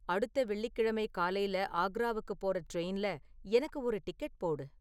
அடுத்த வெள்ளிக்கிழமை காலைல ஆக்ராவுக்குப் போற ட்ரெயின்ல எனக்கு ஒரு டிக்கெட் போடு